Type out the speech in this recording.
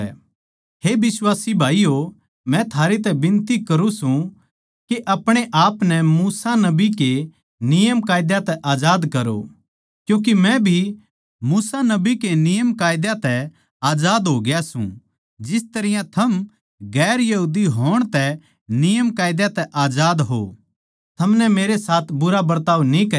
हे बिश्वासी भाईयो मै थारै तै बिनती करुँ सूं के अपणे आपनै मूसा नबी के नियमकायदा तै आजाद करो जिस तरियां मै आजाद सूं क्यूँके मै भी मूसा नबी के नियमकायदा तै आजाद होग्या सूं जिस तरियां पैहले थम नियमकायदा तै आजाद थे थमनै मेरे साथ बुरा बरताव न्ही करया